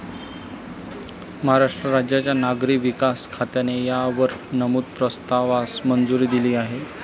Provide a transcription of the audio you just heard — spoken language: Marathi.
महाराष्ट्र राज्याच्या नागरी विकास खात्याने या वर नमूद प्रस्तावास मंजुरी दिली आहे.